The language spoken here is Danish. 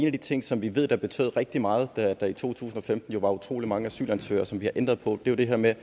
af de ting som vi ved betød rigtig meget da der i to tusind og femten jo var utrolig mange asylansøgere og som vi har ændret på er det her med